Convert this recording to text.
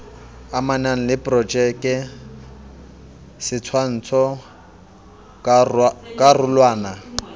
amanang le projeke setshwantsho karolwana